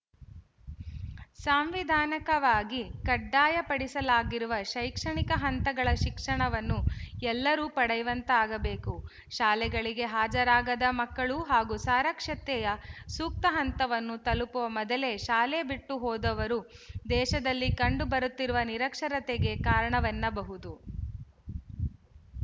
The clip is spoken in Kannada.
ಸಾಂವಿಧಾನಿಕವಾಗಿ ಕಡ್ಡಾಯಪಡಿಸಲಾಗಿರುವ ಶೈಕ್ಷಣಿಕ ಹಂತಗಳ ಶಿಕ್ಷಣವನ್ನು ಎಲ್ಲರೂ ಪಡೆಯುವಂತಾಗಬೇಕು ಶಾಲೆಗಳಿಗೆ ಹಾಜರಾಗದ ಮಕ್ಕಳು ಹಾಗೂ ಸಾಕ್ಷರತೆಯ ಸೂಕ್ತ ಹಂತವನ್ನು ತಲುಪುವ ಮೊದಲೇ ಶಾಲೆ ಬಿಟ್ಟು ಹೋದವರು ದೇಶದಲ್ಲಿ ಕಂಡುಬರುತ್ತಿರುವ ನಿರಕ್ಷರತೆಗೆ ಕಾರಣವೆನ್ನಬಹುದು